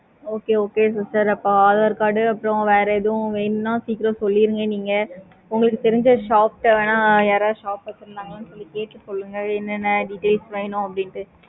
okay okay sister அப்போ aadhar card எது வேணும்னா சீக்கிரம் சொல்லுங்க நீங்க உங்களுக்கு தெரிஞ்ச shops வேணும்னா யாரது shops வச்சிக்கங்களை கேட்டு சொல்லுங்க. என்ன என்ன details வேணும்னு சொல்லிட்டு